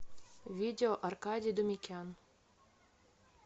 видео аркадий думикян